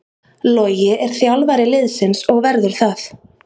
Logi er þjálfari liðsins og verður það.